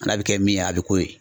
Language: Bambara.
N'a bɛ kɛ min ye a bɛ k'o ye.